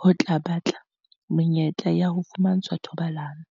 ho batla menyetla ya ho fumantshwa thobalano.